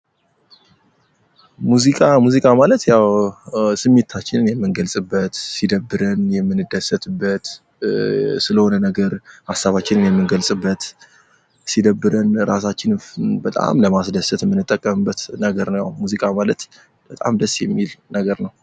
ሙዚቃ ፦ሙዚቃ ማለት ያው ስሜታችንን የምንገልጽበት፣ ሲደብርን የምንደሰትበት፣ ስለሆነ ነገር ሀሳባችንን የምንገልጽበት፣ ሲደብረን ራሳችንን በጣም ለማስደሰት የምንጠቀምበት ነገር ነው። ሙዚቃ ማለት በጣም ደስ የሚል ነገር ነው።